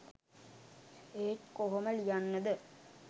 ඒත් කොහොම ලියන්නද